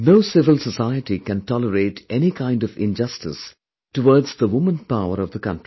No civil society can tolerate any kind of injustice towards the womanpower of the country